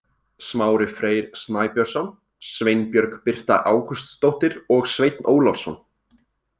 Smári Freyr Snæbjörnsson, Sveinbjörg Birta Ágústsdóttir og Sveinn Ólafsson.